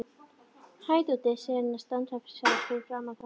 Hæ, Doddi, segir hún og stansar fyrir framan þá.